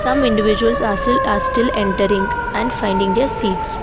some individuals are sil are still entering and finding their seats.